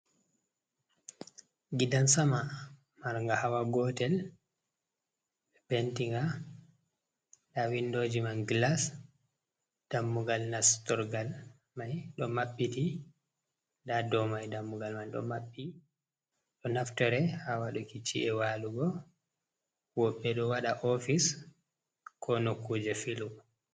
Gidan sama, marnga hawa gotel. Ɓe penti nga, na windooji man glas, dammugal nastorgal mai ɗo mabbiti. Nada dou mai dammugal man ɗo maɓɓi. Ɗo naftore ha waɗuki ci’e waalugo woɓɓe ɗo waɗa ofis ko nokkuuje filu.